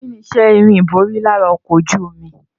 Kíni iṣẹ́ irin ìborí lára ọkọ̀ ojú omi?